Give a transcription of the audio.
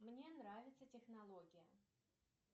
мне нравится технология